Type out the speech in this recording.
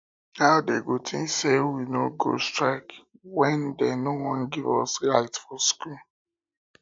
how dey go think say we no go strike wen dey no wan give us light for school